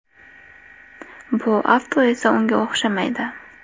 Bu avto esa unga o‘xshamaydi.